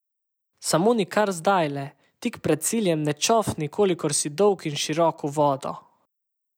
Samo nikar zdajle, tik pred ciljem ne čofni kolikor si dolg in širok v vodo!